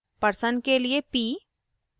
person के लिए p